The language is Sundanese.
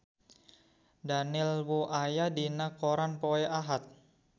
Daniel Wu aya dina koran poe Ahad